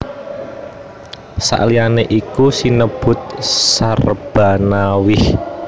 Saliyané iku uga sinebut Syahrbanawaih